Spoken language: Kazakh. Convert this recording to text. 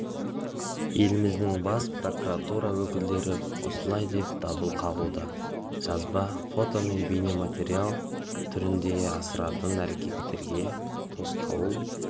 еліміздің бас прокуратура өкілдері осылай деп дабыл қағуда жазба фото мен бейнематериал түріндегі астыртын әрекеттерге тосқауыл